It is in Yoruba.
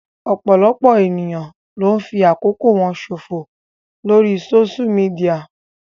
Ọ̀pọ̀lọpọ̀ ènìyàn ló ń fi àkókò ṣò fò lórii sóṣú midià